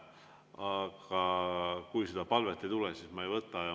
Aga kui seda palvet ei tule, siis ma ei võta.